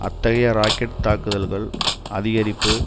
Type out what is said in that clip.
அத்தகைய ராக்கெட் தாக்குதல்கள் அதிகரிப்பு